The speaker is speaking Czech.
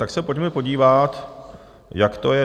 Tak se pojďme podívat, jak to je.